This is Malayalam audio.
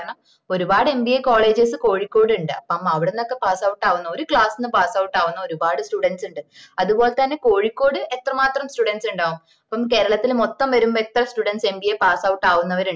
കാരണം ഒരുപാട് mbacolleges കോഴിക്കോട് ഉണ്ട് അപ്പം അവിടന്നൊക്കെ passout ആവുന്ന ഒരു class ന്ന് passout ആവുന്ന ഒരുപാട് students ഉണ്ട് അത്പോലെ തന്ന കോഴിക്കോട് എത്ര മാത്രം students ഉണ്ടാവും അപ്പം കേരളത്തില് മൊത്തം വെരുമ്പോ എത്ര studentsmbapassout ആവുന്നവരുണ്ടാവും